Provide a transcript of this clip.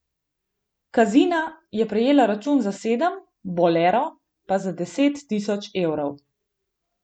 Kazina je prejela račun za sedem, Bolero pa za deset tisoč evrov.